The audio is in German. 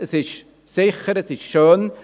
Sie ist sicher und schön.